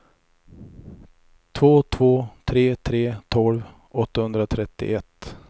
två två tre tre tolv åttahundratrettioett